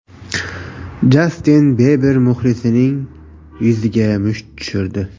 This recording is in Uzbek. Jastin Biber muxlisining yuziga musht tushirdi .